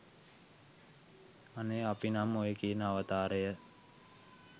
අනේ අපි නම් ඔය කියන අවතාරය